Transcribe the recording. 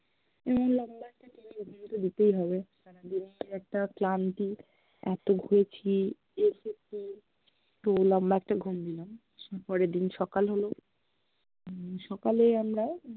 এবং লম্বা একটা টেনে ঘুম তো দিতেই হবে, সারাদিনের একটা ক্লান্তি, এত ঘুরেছি, হেসেছি তো লম্বা একটা ঘুম দিলাম পরের দিন সকাল হল হম সকালে আমরা